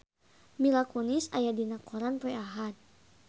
Mila Kunis aya dina koran poe Ahad